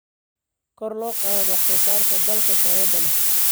kor loo qaado wax soo saarka dalagga tayada leh.